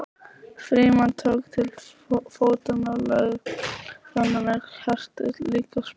Frímann tók til fótanna og lögregluþjónarnir hertu líka sprettinn.